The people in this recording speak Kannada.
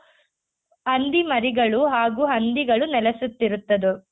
ಹಂದಿ ಮರಿಗಳು ಹಾಗೂ ಹಂದಿಗಳು ನೆಲೆಸುತ್ತಿರುತ್ತದು.